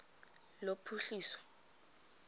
lophuhliso